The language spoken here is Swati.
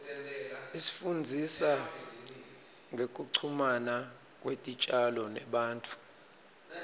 isifundzisa ngekuchumana kwetitjalo nebantfu